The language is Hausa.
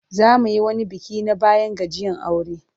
Za mu yi wani biki na bayan gajiyan aure.